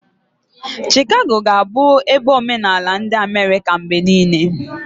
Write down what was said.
Shikago ga-abụ ebe omenala ndi Amerika mgbe niile.